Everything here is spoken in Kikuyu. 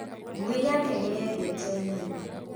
Ngui yakwa nĩyendete nyama.